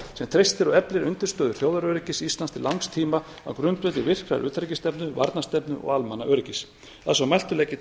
sem treystir á undirstöðu þjóðaröryggisstefnu íslands til langs tíma á grundvelli virkrar utanríkisstefnu varnarstefnu og almannaöryggis að svo mæltu legg ég